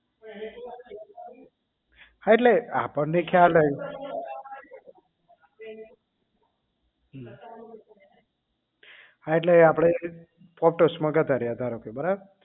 હા એટલે આપણને ખ્યાલ હોય હમ હા એટલે આપણે ગતા રહ્યા ધારો કે આપણે બરાબર